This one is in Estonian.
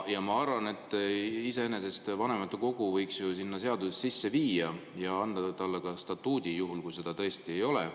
Ma arvan, et vanematekogu võiks ju sinna seadusesse iseenesest sisse viia ja anda talle statuudi, juhul kui teda seal tõesti ei ole.